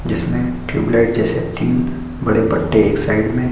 जिसमें ट्यूबलाइट जैसे तीन बड़े पट्टे एक साइड में--